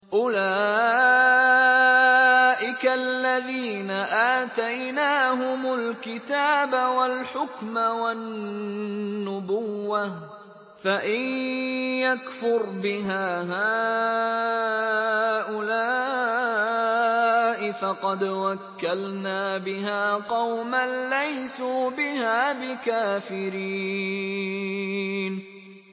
أُولَٰئِكَ الَّذِينَ آتَيْنَاهُمُ الْكِتَابَ وَالْحُكْمَ وَالنُّبُوَّةَ ۚ فَإِن يَكْفُرْ بِهَا هَٰؤُلَاءِ فَقَدْ وَكَّلْنَا بِهَا قَوْمًا لَّيْسُوا بِهَا بِكَافِرِينَ